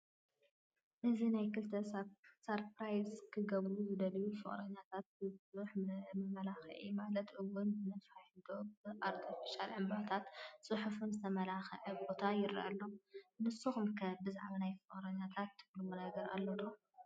እዚ ናይ ክልተ ሳርኘራይዝ ክገብሩ ዝደለዩ ፍቕረኛታት ብብዙሕ መመላኽዕታት ማለት ውን ብነፋሒቶ፣ ብኣርቴፊሻል ዕንባታትን ፅሑፍን ዝተመላኸዐ ቦታ ይረአ ኣሎ፡፡ ንስኻትኩም ከ ብዛዕባ ናይ ፍቕረኛታት ትብልዎ ነገር ኣሎ ዶ?